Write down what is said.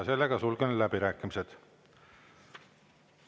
Sulgen läbirääkimised.